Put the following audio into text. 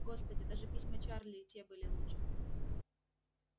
господи даже письма чарли и те были лучше